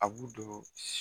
A b'u don si